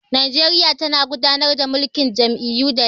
Nigeria tana gudanar da mulkin jam'iyyu da yawa